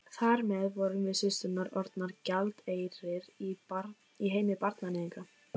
Þar með vorum við systurnar orðnar gjaldeyrir í heimi barnaníðinga.